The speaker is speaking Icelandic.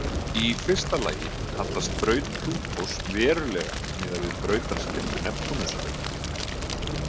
Í fyrsta lagi hallast braut Plútós verulega miðað við brautarsléttu Neptúnusar.